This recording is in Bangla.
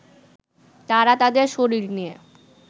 তারা তাদের শরীর নিয়ে